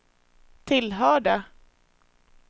tillhörde